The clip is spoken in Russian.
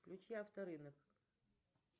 включи авторынок